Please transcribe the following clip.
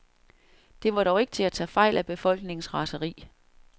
Det var dog ikke til at tage fejl af befolkningens raseri.